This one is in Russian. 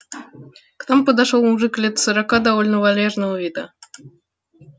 к нам подошёл мужик лет сорока довольно вальяжного вида